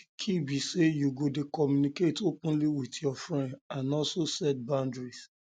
di key be say you go dey communicate openly with your openly with your friends and also set clear boundaries